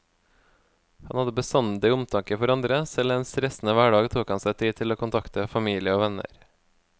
Han hadde bestandig omtanke for andre, selv i en stressende hverdag tok han seg tid til å kontakte familie og venner.